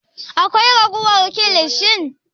Akwai ragowar kilishin?